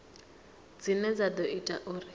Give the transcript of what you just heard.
dzine dza ḓo ita uri